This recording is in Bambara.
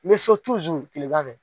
N bɛ so kilganfɛ.